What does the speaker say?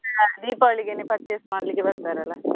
ಹ ದೀಪಾವಳಿಗೆನೆ purchase ಮಾಡ್ಲಿಕ್ಕೆ ಬರ್ತಾರೆ ಅಲ್ಲಾ.